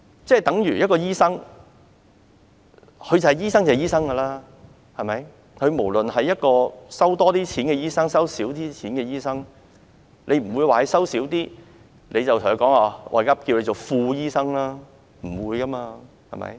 這等於醫生便是醫生，無論他收費高昂或收費便宜，你不會因為他的收費便宜而稱他為副醫生，不會這樣的。